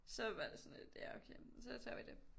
Så var det sådan lidt ja okay så tager vi dét